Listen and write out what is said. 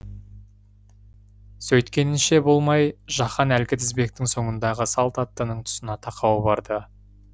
сөйткенінше болмай жаһан әлгі тізбектің соңындағы салт аттының тұсына тақау барды